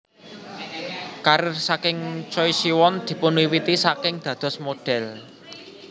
Karir saking Choi Siwon dipunwiwiti saking dados model